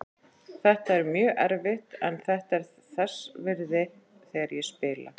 Þetta er mjög erfitt en þetta er þess virði þegar ég spila.